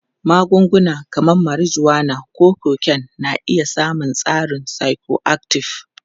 Magunguna kamar marijuana ko cocaine na iya samun tasirin psychoactive.